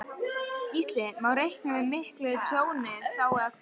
Gísli: Má reikna með miklu tjóni þá eða hvað?